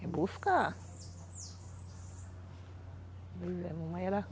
É buscar.